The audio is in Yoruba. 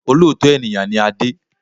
Olóòótọ́ ènìyàn ni Adé